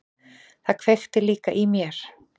Það kveikti líka í mér.